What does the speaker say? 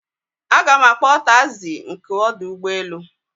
Aga m akpọ taịzi nke ọdụ ụgbọelu